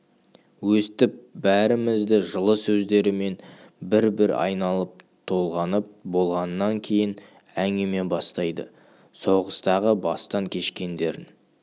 өстіп бәрімізді жылы сөздерімен бір-бір айналып-толғанып болғаннан кейін әңгіме бастайды соғыстағы бастан кешкендерін